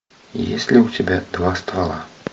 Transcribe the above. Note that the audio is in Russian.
есть ли у тебя два ствола